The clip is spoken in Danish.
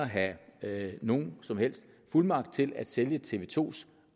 have nogen som helst fuldmagt til at sælge tv to